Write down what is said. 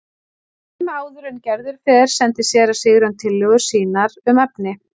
Skömmu áður en Gerður fer sendir séra Sigurjón tillögur sínar um efni.